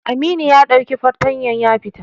Amini ya ɗauki fartanyar ya fita.